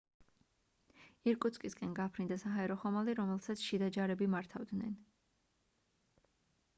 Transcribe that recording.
ირკუტსკისკენ გაფრინდა საჰაერო ხომალდი რომელსაც შიდა ჯარები მართავდნენ